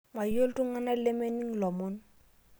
Mayieu ltungana lemening' lomon